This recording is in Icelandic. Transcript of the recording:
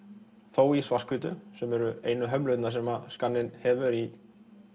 þó í svart hvítu sem eru einu hömlurnar sem skanninn hefur í